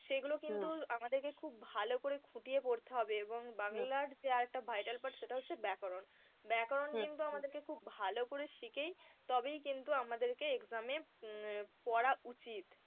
সেগুলো কিন্তু আমাদেরকে খুব ভালো করে খুঁটিয়ে পড়তে হবে এবং বাংলার যে আরেকটা vital part সেটা হচ্ছে ব্যাকরণ। ব্যাকরণ কিন্তু আমাদেরকে খুব ভালো করে শিখে তবেই কিন্তু আমাদেরকে exam এ উম পড়া উচিত।